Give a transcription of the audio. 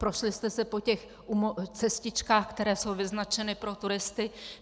Prošli jste se po těch cestičkách, které jsou vyznačeny pro turisty?